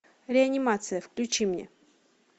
реанимация включи мне